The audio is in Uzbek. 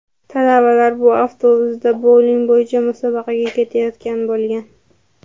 Talabalar bu avtobusda bouling bo‘yicha musobaqaga ketayotgan bo‘lgan.